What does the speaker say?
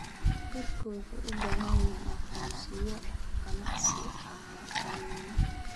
Dadku waxay u baahan yihiin aqoonsiyo ganacsiyo caalami ah.